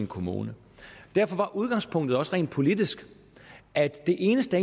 kommune derfor var udgangspunktet også rent politisk at det eneste